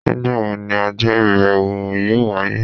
Nigbawo ni ọjọ ibẹwo yọọ waye?